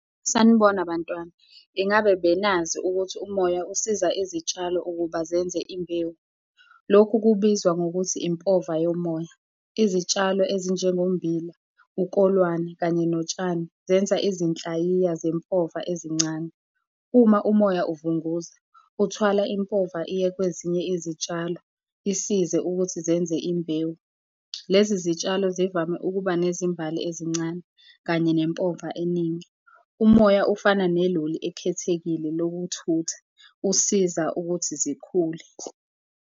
Sanibona, bantwana. Ingabe benazi ukuthi umoya usiza izitshalo ukuba zenze imbewu? Lokhu kubizwa ngokuthi impova yomoya. Izitshalo ezinjengommbila, ukolwane kanye notshani zenza izinhlayiya zempova ezincane. Uma umoya uvunguza, uthwala impova iye kwezinye izitshalo isize ukuthi zenze imbewu. Lezi zitshalo zivame ukuba nezimbali ezincane kanye nempova eningi. Umoya ufana neloli ekhethekile lokuthutha, usiza ukuthi zikhule.